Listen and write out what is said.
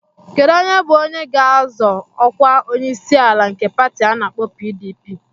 Kedu onye bụ onye ga-azọ ọkwa onyeisiala nke pati ana-akpo PDP?